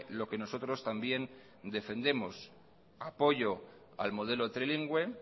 lo que nosotros también defendemos apoyo al modelo trilingüe